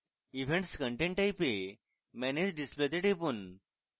events content type এ manage display তে টিপুন